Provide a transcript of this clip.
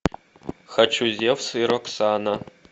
хочу зевс и роксана